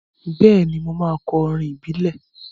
Bẹ́ẹ̀ni, mo máa kọ orin ìbílẹ̀.